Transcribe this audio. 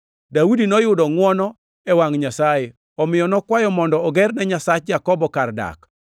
Daudi noyudo ngʼwono e wangʼ Nyasaye, omiyo nokwayo mondo ogerne Nyasach Jakobo kar dak.